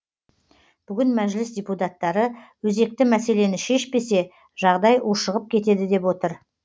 бүгін мәжіліс депутаттары өзекті мәселені шешпесе жағдай ушығып кетеді деп отыр